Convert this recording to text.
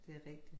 Det rigtigt